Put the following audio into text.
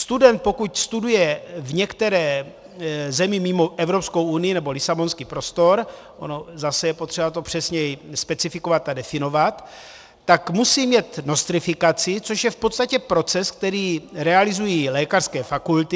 Student, pokud studuje v některé zemi mimo Evropskou unii, nebo lisabonský prostor, ono zase je potřeba to přesněji specifikovat a definovat, tak musí mít nostrifikaci, což je v podstatě proces, který realizují lékařské fakulty.